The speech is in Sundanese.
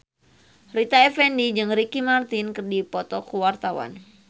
Rita Effendy jeung Ricky Martin keur dipoto ku wartawan